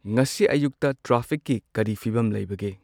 ꯉꯁꯤ ꯑꯌꯨꯛꯇ ꯇ꯭ꯔꯥꯐꯤꯛꯀꯤ ꯀꯔꯤ ꯐꯤꯕꯝ ꯂꯩꯕꯒꯦ꯫